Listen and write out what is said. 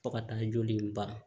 Fo ka taa joli in ban